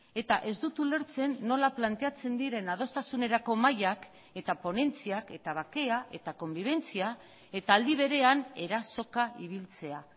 eta ez dut ulertzen nola planteatzen diren adostasunerako mahaiak eta ponentziak eta bakea eta konbibentzia eta aldi berean erasoka ibiltzea